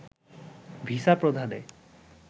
visa প্রদানে